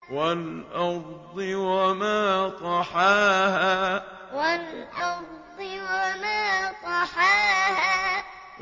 وَالْأَرْضِ وَمَا طَحَاهَا وَالْأَرْضِ وَمَا طَحَاهَا